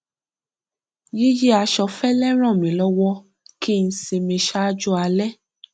yíyí aṣọ fẹlẹ ràn mí lọwọ kí n sinmi ṣáájú alẹ